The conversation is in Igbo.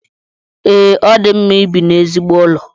Ee, o di mma ibi n’ezigbo ụlọ